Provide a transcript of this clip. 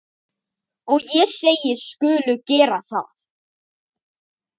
Og ég segist skulu gera það.